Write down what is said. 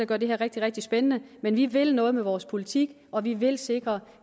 gør det her rigtig rigtig spændende men vi vil noget med vores politik og vi vil sikre